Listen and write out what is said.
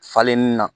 Falenin na